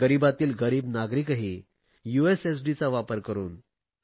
गरीबातील गरीब नागरिकही यूएसएसडीचा वापर करुन